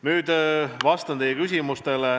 Nüüd vastan teie küsimustele.